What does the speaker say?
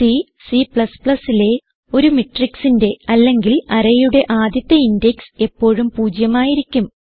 C Cലെ ഒരു matrixന്റെ അല്ലെങ്കിൽ അറേ യുടെ ആദ്യത്തെ ഇൻഡെക്സ് എപ്പോഴും പൂജ്യമായിരിക്കും